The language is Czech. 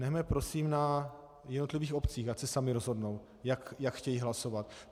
Nechme prosím na jednotlivých obcích, ať se samy rozhodnou, jak chtějí hlasovat.